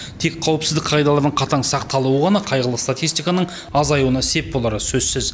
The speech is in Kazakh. тек қауіпсіздік қағидаларының қатаң сақталуы ғана қайғылы статистиканың азаюына сеп болары сөзсіз